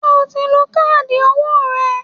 Ṣé o ti lọ gba káàdì owó rẹ?